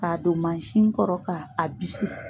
K'a don mansin kɔrɔ k'a a bisi